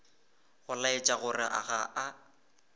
go laetša gore ga a